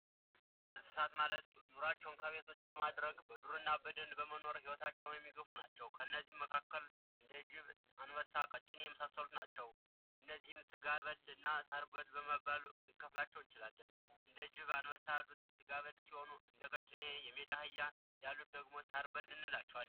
የዱር እንስሳት ማለት ኑሩዋቸውን ከቤት ውጭ በማድረግ በዱርና በደን ውስጥ ኑራቸውን የሚገፉ ናቸው፤ ከነዚህም መካከል እንደ ጅብ፣ አንበሳ፣ እና ቀጭኔና የመሳሰሉት ናቸው። እነዚህም ስጋ በልና ሳር በል በማለት መክፍል እንችላለን፥ እንደ ጅብ አንበሳ ያሉት ስጋ በል ሲሆኑ እንደ ቀጭኔና የሜዳ አህያ ያሉት ደግሞ ሳር በል እንላቸዋለን።